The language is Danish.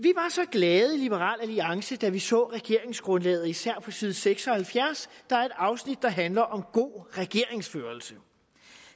så glade i liberal alliance da vi så regeringsgrundlaget især på side seks og halvfjerds der er et afsnit der handler om god regeringsførelse